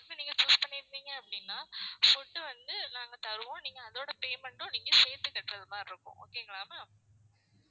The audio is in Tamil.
food நீங்க choose பண்ணிருந்தீங்க அப்படின்னா food வந்து நாங்க தருவோம். நீங்க அதோட payment உம் நீங்க சேர்த்து கட்டுறது மாதிரி இருக்கும் okay ங்களா ma'am